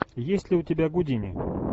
есть ли у тебя гудини